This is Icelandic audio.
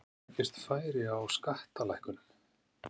Hvenær gefst færi á skattalækkunum?